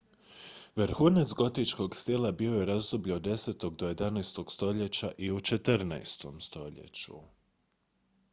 vrhunac gotičkog stila bio je u razdoblju od 10. do 11. stoljeća i u 14. stoljeću